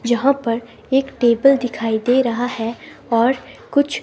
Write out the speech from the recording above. जहां पर एक टेबल दिखाई दे रहा है और कुछ--